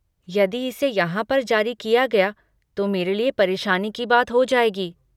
यदि इसे यहाँ पर जारी किया गया तो मेरे लिए परेशानी की बात हो जाएगी।